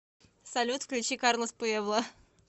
салют включи карлос пуэбла